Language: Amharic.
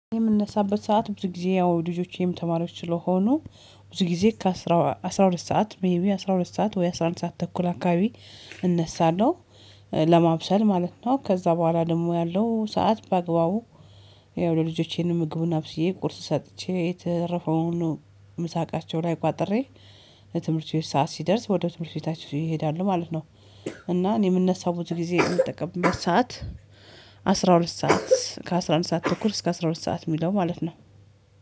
የምንነሳበት ሰዓት ብዙ ጊዜ ያው ልጆቼም ተማሪዎች ስለሆኑ ብዙ ጊዜ ከአስር አስራ ሁለት ሰዓት ወይ አስራ አንድ ሰዓት ተኩል አከባቢ እነሳለሁ። ለማብሰል ማለት ነው ከዚያ በኋላ ደግሞ ያለው ሰዓት በአግባቡ ያው ለልጆቼን ምግቡን አብስዬ ቁርስ ሰጥቼ የተረፈውን ምሳቃቸው ላይ ቋጥሬ የትምህርት ቤት ሰዓት ሲደርስ ወደ ትምህርት ቤታችን ይሄዳሉ ማለት ነው። እና እኔ የምነሳው ብዙ ጊዜ የምጠቀምበት ሰዓት። አስራ ሁለት ሰዓት ከአስራ አንድ ሰዓት ተኩል እስከ አስራ ሁለት ሰዓት የሚለው ማለት ነው